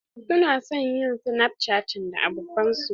Su na son yin snapchatting da abokanan su.